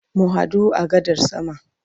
Mu hadu a gadar sama.